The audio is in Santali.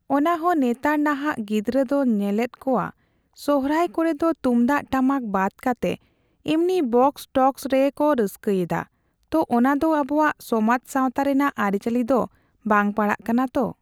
ᱚᱱᱟ ᱦᱚᱸ ᱱᱮᱛᱟᱨ ᱱᱟᱦᱟᱜ ᱜᱤᱫᱽᱨᱟᱹ ᱫᱚ ᱧᱮᱞᱮᱫ ᱠᱚᱣᱟ ᱥᱚᱨᱦᱟᱭ ᱠᱚᱨᱮ ᱦᱚᱸ ᱛᱩᱢᱫᱟᱜ ᱴᱟᱢᱟᱠ ᱵᱟᱫ ᱠᱟᱛᱮ, ᱮᱢᱱᱤ ᱵᱚᱠᱥᱼᱴᱚᱠᱥ ᱜᱮᱠᱚ ᱨᱟᱹᱥᱠᱟᱹᱭᱮᱫᱟ᱾ ᱛᱚ, ᱚᱱᱟᱫᱚ ᱟᱵᱚᱣᱟᱜ ᱥᱚᱢᱟᱡ ᱥᱟᱣᱛᱟ ᱨᱮᱱᱟᱜ ᱟᱹᱨᱤᱪᱟᱹᱞᱤ ᱫᱚ ᱵᱟᱝ ᱯᱟᱲᱟᱜ ᱠᱟᱱᱟ ᱛᱚ᱾